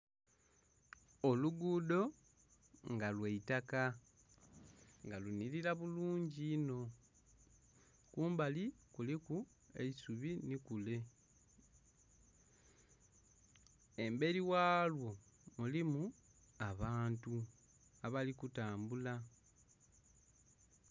Olugudho nga lwaitaka nga lunhilila bulungi inho, kumbali kuliku eisubi nhi kule emberi ghalwo mulimu abantu abali kutambula.